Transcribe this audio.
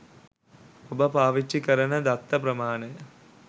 ඔබ පාවිච්චි කරන දත්ත ප්‍රමාණය